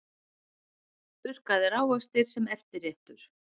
Þurrkaðir ávextir sem eftirréttur